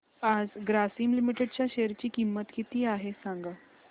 आज ग्रासीम लिमिटेड च्या शेअर ची किंमत किती आहे सांगा